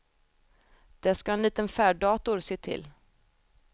Det skall en liten färddator se till.